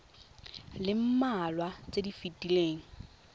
le mmalwa tse di fetileng